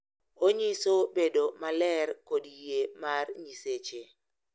Onyiso bedo maler kod yie mar Nyiseche.